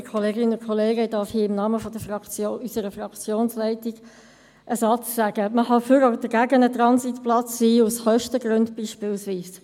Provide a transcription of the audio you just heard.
Ich darf hier im Namen unserer Fraktionsleitung einen Satz sagen: Man kann für oder gegen einen Transitplatz sein, aus Kostengründen beispielsweise.